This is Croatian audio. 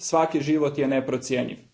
Svaki život je neprocjenjiv.